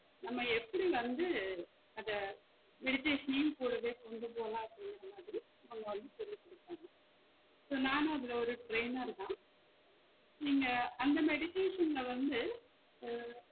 நாம எப்படி வந்து அத meditation நையும் கூடவே கொண்டுபோலாம் அப்டிங்குற மாதிரி அவங்க வந்து சொல்லி குடுப்பாங்க so நானும் அதுல ஒரு trainer தான் நீங்க அந்த meditation ல வந்து உம்